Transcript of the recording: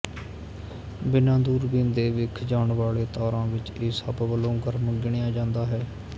ਬਿਨਾਂ ਦੂਰਬੀਨ ਦੇ ਵਿੱਖ ਜਾਣ ਵਾਲੇ ਤਾਰਾਂ ਵਿੱਚ ਇਹ ਸਭ ਵਲੋਂ ਗਰਮ ਗਿਣਿਆ ਜਾਂਦਾ ਹੈ